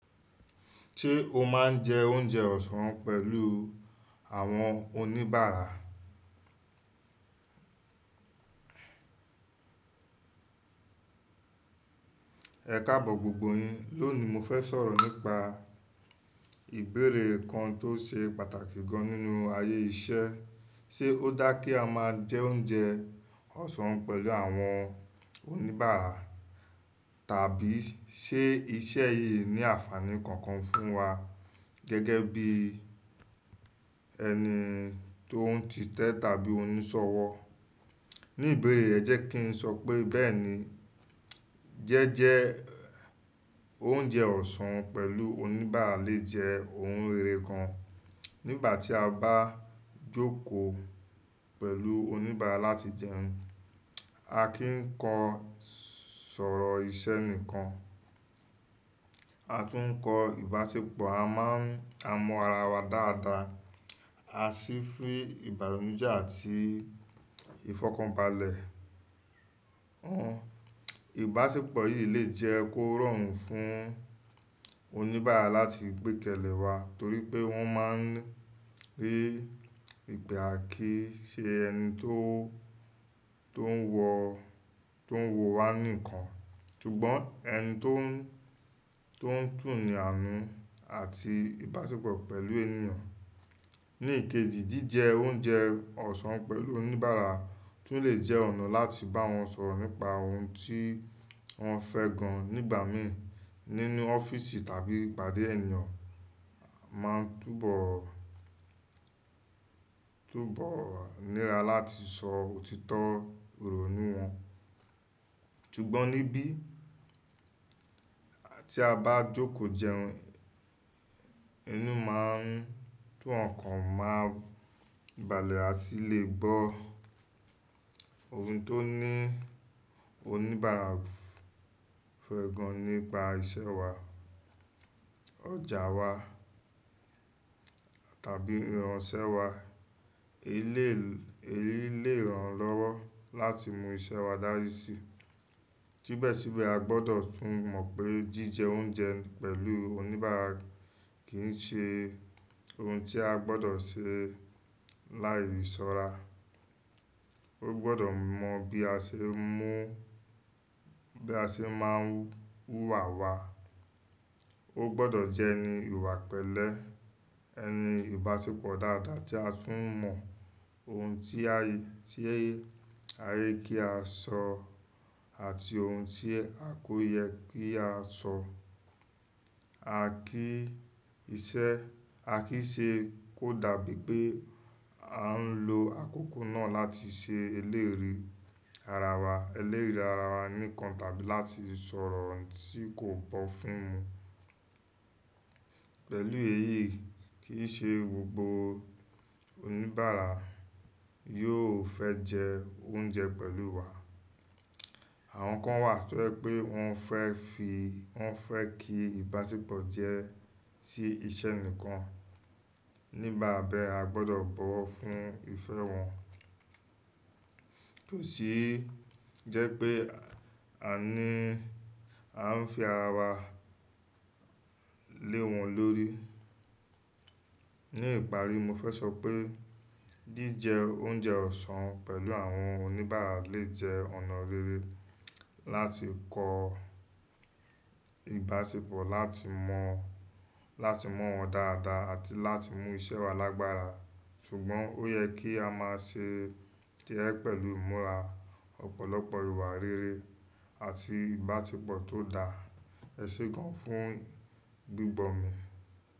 Ṣé o máa ń jẹ oúnjẹ ọ̀sán pẹ̀lú àwọn oníbàárà? Ẹ káàbọ̀ gbogbo yín, lónìí mo fẹ́ sọ̀rọ̀ nípa ìbéèrè kan tó ṣe pàtàkì gan nínú ayé iṣẹ́. Ṣé ó dá kí a máa jẹ oúnjẹ ọ̀sán pẹ̀lù àwọn oníbàárà? Tàbí ṣe iṣẹ́ yìí ní àfààní kankan fún wa gẹ́gẹ́ bí ẹni tó ń títẹ tàbí oníṣọ̀wọ̀? Ní ìbéèrè e jẹ́ kí n sọ pé bẹ́ẹ̀ni, jẹ́jẹ oúnjẹ ọ̀sán pẹ̀lú oníbàárà lè jẹ́ ohun rere kan. Nígbà tí a bá jókòó pẹ̀lú oníbàárà láti jẹun, a kì ń kọ sọ̀rọ̀ iṣẹ́ nìkan, a tún ń kọ ìbáṣepọ̀, a mọ ara wa dáadáa, a sì fi ìbànújẹ́ àti ìfọ̀kànbalẹ̀ hmm, Ìbáṣepọ̀ yìí lè jẹ́ kó rọrùn fún oníbàárà láti gbékelèwa torí pé wọ́n máa rí ìgbà kíi ṣe ẹni tó ń wọ̀ wá nìkan, ṣùgbọ́n ẹni tó ń tùní àánú àti ìbáṣepọ̀ pẹ̀lú ènìyàn. Ní ìkejì, jíjẹ oúnjẹ ọ̀sán pẹ̀lú oníbàárà tún lè jẹ́ ọ̀nà láti bá wọn sọ̀rọ̀ nípa ohun tí wọ́n fẹ́ gan nígbàmí. Nínú ọ́fíìsì tàbí ìpàdé, ènìyàn máa túbọ̀ níra láti sọ òtítọ́ ìrònú wọn, ṣùgbọ́n níbí tí a bá jókòó jẹun, ẹnu máa ń tu ọ̀nkan maa n balẹ̀, a tì lè gbọ́ ohun tó ní oníbàárà fẹ́ gan nípa iṣẹ́ wa, ọjà wa tàbí ìranṣẹ́ wa. Èyí lè ràn lọ́wọ́ láti mú iṣẹ́ wa dárì sí. Síbẹ̀síbẹ̀, a gbọ́dọ̀ tún mọ̀ pé jíjẹ oúnjẹ pẹ̀lú oníbàárà kì í ṣe ohun tí a gbọ́dọ̀ ṣe láì ṣọ́ra. Ó gbọ́dọ̀ mọ bí a ṣe máa wúwa wa, ó gbọ́dọ̀ jẹ́ ẹni ìwà pẹ̀lẹ́, ẹni ìbáṣepọ̀ dáadáa tí a tún mọ ohun tí ayé kí á sọ àti ohun tí a kò yẹ kí á sọ. A kìí ṣe kó dàbí pé a ń lo àkókò náà láti ṣe eléèrí ara wa nìkan tàbí láti sọ̀rọ̀ ohun tí kò bọ́ fún. Pẹ̀lú èyí, kìí ṣe gbogbo oníbàárà yóò fẹ́ jẹ oúnjẹ pẹ̀lú wa. Àwọn kan wà tó jẹ pé wọ́n fẹ́ kí ìbáṣepọ̀ jẹ́ sí iṣẹ́ nìkan. Nígbà bẹ́ẹ̀, a gbọ́dọ̀ bọ̀wọ̀ fún ìfẹ́ wọn, kò sì jẹ́ pé a ń fi ara wa lé wọn lórí. Ní ìparí, mo fẹ́ sọ pé jíjẹ oúnjẹ ọ̀sán pẹ̀lú àwọn oníbàárà lè jẹ́ ọ̀nà rere láti kọ ìbáṣepọ̀, láti mọ̀ wọ́n dáadáa àti láti mú iṣẹ́ wa lágbára. Ṣùgbọ́n ó yẹ kí a máa ṣe jé pẹ̀lú ìmúra ọ̀pọ̀lọpọ̀ ìwà rere àti ìbáṣepọ̀ tó dá ẹṣẹ gan fún gbígbọ́ mi.